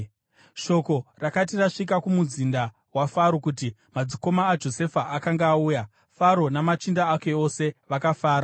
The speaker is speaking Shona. Shoko rakati rasvika kumuzinda waFaro kuti madzikoma aJosefa akanga auya, Faro namachinda ake ose vakafara.